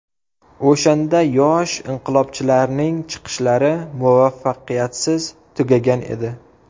O‘shanda yosh inqilobchilarning chiqishlari muvaffaqiyatsiz tugagan edi.